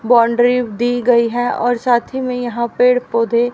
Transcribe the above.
boundary दी गई है और साथ ही में यहां पेड़ पौधे--